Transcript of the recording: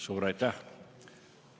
Suur aitäh!